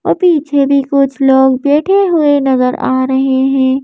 और पीछे भी कुछ लोग बैठे हुए नजर आ रहे हैं।